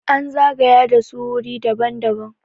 an zagaya da su wuri daban- daban